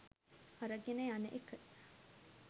අරගෙන යන එක.